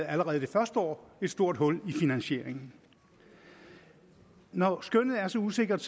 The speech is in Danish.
allerede det første år et stort hul i finansieringen når skønnet er så usikkert